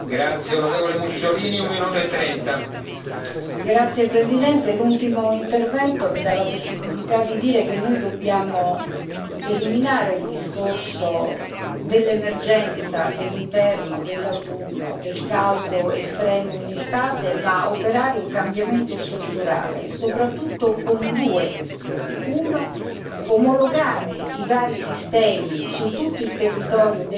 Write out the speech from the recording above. Signor Presidente, onorevoli colleghi, l'ultimo intervento mi dà la possibilità di dire che noi dobbiamo eliminare il discorso dell'emergenza dell'inverno, dell'autunno, del caldo estremo in estate, ma operare un cambiamento strutturale, soprattutto con due questioni. Occorre omologare i vari sistemi su tutto il territorio degli Stati membri